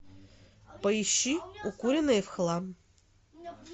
поищи укуренные в хлам